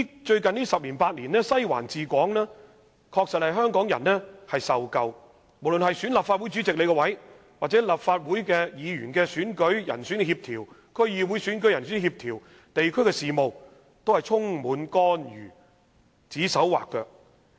最近十年八年，香港人確實飽受"西環治港"，無論是選舉立法會主席，還是立法會選舉和區議會選舉的人選協調，或地區事務等，西環均插手干預。